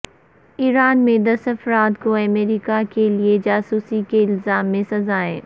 ایران میں دس افراد کو امریکا کے لیے جاسوسی کے الزام میں سزائیں